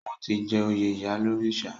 Wọ́n ti jẹ oyè ìyálórìṣà.